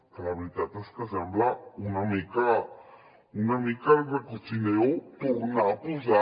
que la veritat és que sembla una mica recochineo tornar a posar